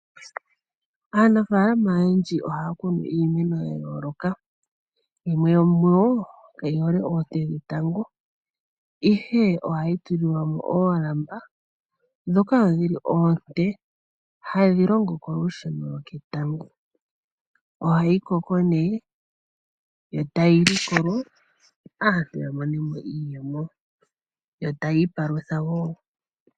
Aanafaalama oyendji ohaya kunu iimeno ya yooloka. Yimwe yomuyo kayi hole oonte dhetango, ihe ohayi tulilwa mo oolamba ndhoka odho oonte hadhi longo kolusheno lwoketango. Ohayi koko nduno yo tayi likolwa, opo aantu ya mone mo iiyemo yo taya ipalutha wo.